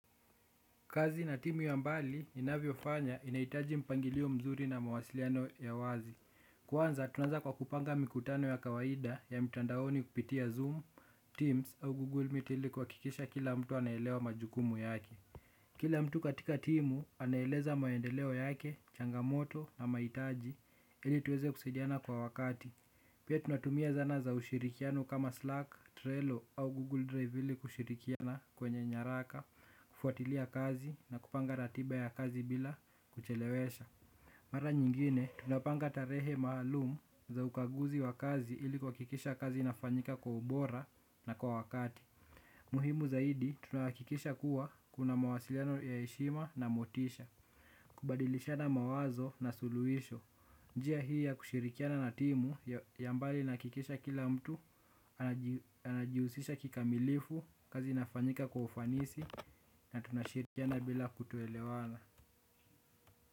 Kazi na timu ya mbali inavyo fanya inaitaji mpangilio mzuri na mawasiliano ya wazi. Kwanza tunanza kwa kupanga mikutano ya kawaida ya mtandaoni kupitia zoom, teams au google miti ili kuhakikisha kila mtu anaelewa majukumu yake. Kila mtu katika timu anaeleza maendeleo yake, changamoto na mahitaji ili tuweze kusaidiana kwa wakati pia tunatumia zana za ushirikiano kama Slack, Trello au Google Drive ili kushirikiana kwenye nyaraka, kufuatilia kazi na kupanga ratiba ya kazi bila kuchelewesha. Mara nyingine, tunapanga tarehe maalumu za ukaguzi wa kazi ili kuhakikisha kazi inafanyika kwa ubora na kwa wakati. Muhimu zaidi tunahakikisha kuwa kuna mawasiliano ya heshima na motisha kubadilishana mawazo na suluisho njia hii ya kushirikiana na timu yambali inahakikisha kila mtu anajiusisha kikamilifu kazi inafanyika kwa ufanisi na tunashirikiana bila kutoelewana.